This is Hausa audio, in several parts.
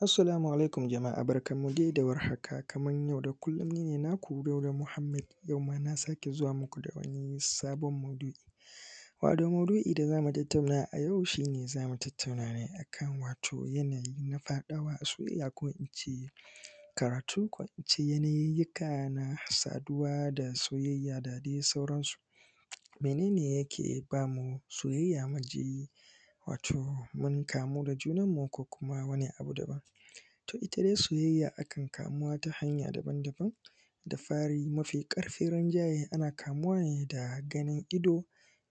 Assalamu alaikum jama'a barkanmu dai da war haka kama yau da kullum ni ne naku Dauda Muhammad, yau ma na sake zuwa muku da wani sabon maudu'i, maudu'i da za mu tattauna a yau shi ne zamu tattauna ne akan wato yanayi na faɗawa a soyayya ko in ce karatu ko in ce yanayiy yika na saduwa da soyayya da dai sauran su. Mene ne yake ba mu soyayya mu ji wato mun kamu da junanmu ko kuma wani abu daban ,to ita dai soyayya akan kamuwa ta hanya daban-daban. da fari mafi karfin rinjaye ana kamuwa ne da ganin ido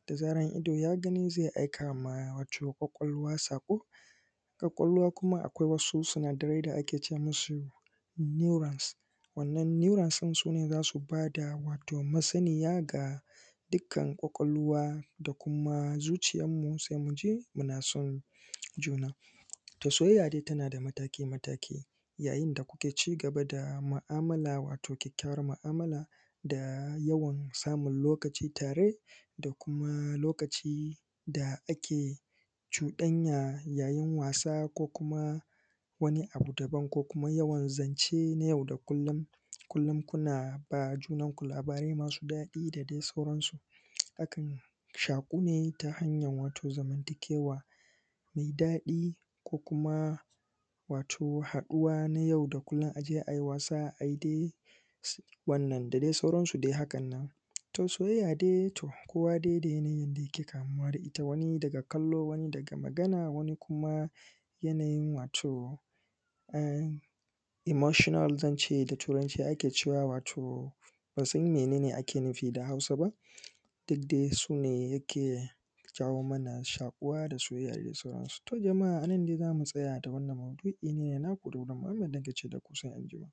da zarar ido ya gani zai aikama wato ƙwaƙwalwa sako. Ƙwaƙwalwa kuma akwai wasu sunadarai da ake ce musu neorans [cs[, wannan noerans din za su ba da wato masaniya ga dukkan ƙwaƙwalwa da kuma zuciyarmu sai mu je muna son juna. To soyayya dai tana da mataki mataki yayin da kuke ci gaba da mu'amala wato ƙyaƙƙyawar mu'amala da yawan samun lokaci tare da kuma lokaci da ake cuɗanya yayin wasa ko kuma wani abu daban ko kuma yawan zance na yau da kullum, kullum kuna ba junanku labarai masu daɗi da sauransu. Akan shaƙu ne ta hanyan wato zamantakewa mai dadi ko kuma wato haduwa na yau da kullum a je a yi wasa ayi dai um wannan da dai sauransu dai hakan nan. to Soyayya dai to kowa. dai da yanayin yanda yake kamuwa da ita wani daga kallo wani daga magana wani kuma yananyin wato um emotional zance da turanci ake cewa wato um ban san mene ne ake nufi da Hausa ba duk dai su ne yake jawo mana shakuwa da soyayya da sauransu. To jama'a a nan dai za mu tsaya da wannan maudu'i, nine naku dauda muhammad nake ce daku sai anjima.